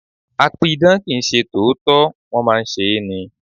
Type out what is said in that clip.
A pidàn kì ń ṣe tòótọ́, wón máa ń ṣe é ni.